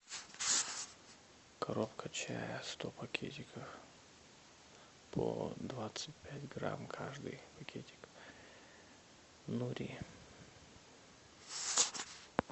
коробка чая сто пакетиков по двадцать пять грамм каждый пакетик нури